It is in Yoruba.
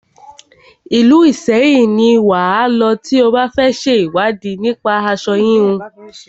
Ìlú Ìṣẹyìn ni wà á lọ tí o bá fẹ ṣe ìwádìí nípa aṣo híhun.